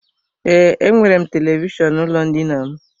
Ee, enwere m televishọnụ n'ụlọ ndina m.